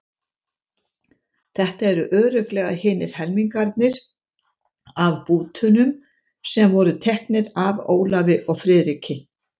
Þetta eru örugglega hinir helmingarnir af bútunum sem voru teknir af Ólafi og Friðriki.